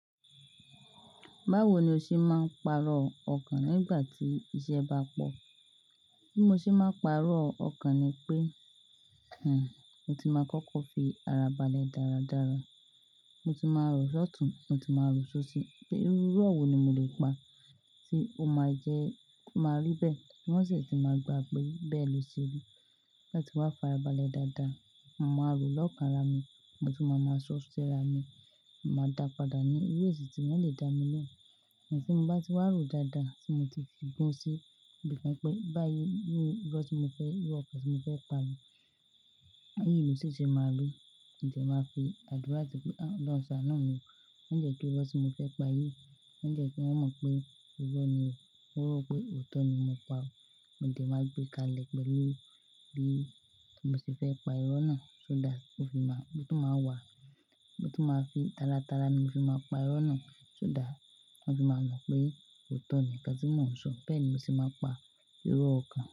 Báwo ni o ṣe máa ń pàrọ̀ ọkàn nígbà tí iṣẹ́ bá pọ̀? Bí mo ṣe máa ń pàrọ̀ ọkàn ni pé, hmm, mo ti máa kọ́kọ́ fi ara balẹ̀ dáradára. Mo ti máa rọ ṣọtùn, mo ti máa rọ sósì, pé irú irọ́ wo ni mo le pa tí ó máa jẹ́, tí ó máa rí bẹ́ẹ̀ tí wọ́n sì ti máa gbà pé bẹ́ẹ̀ ló ṣe rí. Tí n bá ti wá farabalẹ̀ dáadáa, màá rọ lọ́kànra mi, mo ti máa máa ṣọ́ si ara mi, màá dàpadà ní irú èsì tí wọ́n lè dá mi lóhùn. Ẹ̀sìn tí mo bá ti wá rọ̀ dáadáa tí mo ti fi gún un sí, ó lè kan pé báyìí irú irọ́ tí mo fẹ́, irú ọkà tí mo fẹ́ pa ni. Báyìí ìlú ṣì ṣe máa rí, ǹjẹ̀ máa fi àdúrà pé, "àlọ́ àṣà náà ni o." Ǹjẹ̀ kí wọn sọ mo fẹ́ pà yí, ǹjẹ̀ kí wọ́n mọ̀ pé irọ́ ni o. Wọn rò pé òótọ́ ni mo pa ó. Mo dẹ̀ máa gbé kalẹ̀ pẹ̀lú bí mo ṣe fẹ́ pa irú irọ́ náà, so that ó fi máa, ó tún máa wà. Mo tún máa fi tárátara ni mo fi máa n pa irọ́ náà, so that wọ́n fì máa mọ̀ pé òótọ́ nì nǹkan tí mò ń sọ. Bẹ́ẹ̀ ni mo sì máa ń pa irọ́ ọkàn.